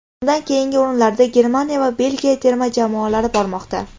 Undan keyingi o‘rinlarda Germaniya va Belgiya terma jamoalari bormoqda.